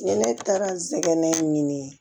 Ni ne taara n sɛgɛn ɲini